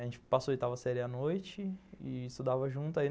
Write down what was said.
A gente passou a oitava série à noite e estudava junto.